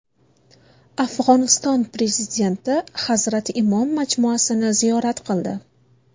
Afg‘oniston Prezidenti Hazrati Imom majmuasini ziyorat qildi.